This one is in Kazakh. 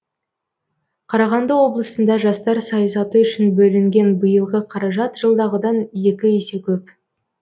қарағанды облысында жастар саясаты үшін бөлінген биылғы қаражат жылдағыдан екі есе көп